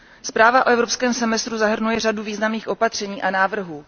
Zpráva o evropském semestru zahrnuje řadu významných opatření a návrhů.